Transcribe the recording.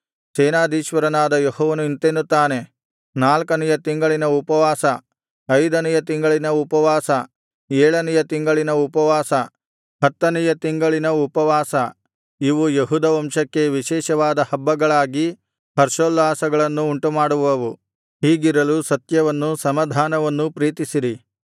ಸೇನಾಧೀಶ್ವರನಾದ ಯೆಹೋವನು ಇಂತೆನ್ನುತ್ತಾನೆ ನಾಲ್ಕನೆಯ ತಿಂಗಳಿನ ಉಪವಾಸ ಐದನೆಯ ತಿಂಗಳಿನ ಉಪವಾಸ ಏಳನೆಯ ತಿಂಗಳಿನ ಉಪವಾಸ ಹತ್ತನೆಯ ತಿಂಗಳಿನ ಉಪವಾಸ ಇವು ಯೆಹೂದ ವಂಶಕ್ಕೆ ವಿಶೇಷವಾದ ಹಬ್ಬಗಳಾಗಿ ಹರ್ಷೋಲ್ಲಾಸಗಳನ್ನು ಉಂಟುಮಾಡುವವು ಹೀಗಿರಲು ಸತ್ಯವನ್ನೂ ಸಮಾಧಾನವನ್ನೂ ಪ್ರೀತಿಸಿರಿ